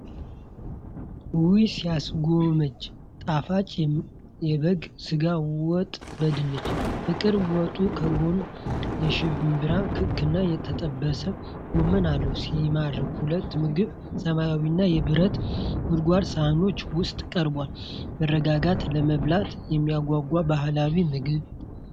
ውይ ሲያስጎመዥ! ጣፋጭ የበግ ሥጋ ወጥ በድንች። ፍቅር! ወጡ ከጎን የሽምብራ ክክና የተጠበሰ ጎመን አለው። ሲማርክ! ሁሉም ምግብ ሰማያዊና የብረት ጎድጓዳ ሳህኖች ውስጥ ቀርቧል። መረጋጋት! ለመብላት የሚያጓጓ ባህላዊ ምግብ።